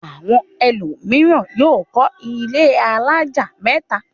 Àwọn ẹlòmíràn yóò kọ́ ilé alájà mẹ́ta.